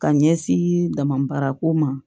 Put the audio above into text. Ka ɲɛsin damabaarako ma